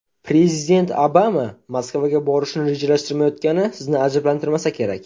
Prezident Obama Moskvaga borishni rejalashtirmayotgani sizni ajablantirmasa kerak.